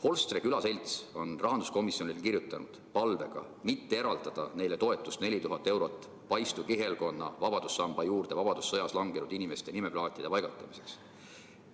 Holstre Külaselts on rahanduskomisjonile saatnud palve mitte eraldada neile 4000 eurot toetust Paistu kihelkonna vabadussamba juurde vabadussõjas langenud inimeste nimeplaatide paigaldamiseks.